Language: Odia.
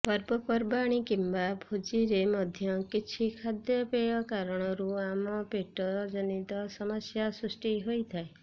ପର୍ବପର୍ବାଣି କିମ୍ବା ଭୋଜିରେ ମଧ୍ୟ କିଛି ଖାଦ୍ୟପେୟ କାରଣରୁ ଆମ ପେଟ ଜନିତ ସମସ୍ୟା ସୃଷ୍ଟି ହୋଇଥାଏ